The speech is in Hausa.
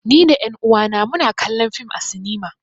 Ni da ƴan uwa na mu na kallon fim a sinima